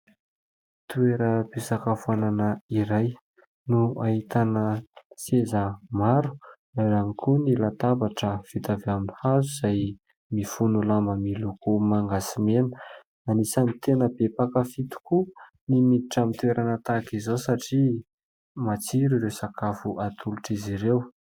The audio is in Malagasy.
Toeram-pisakafoanana iray no ahitana seza maro ao ihany koa ny latabatra fito avy amin'ny hazo izay mifono lamba miloko manga sy mena, anisany tena be mpankafy tokoa ny miditra amin'ny toerana tahaka izao satria matsiro ireo sakafo atolotra azy ireo.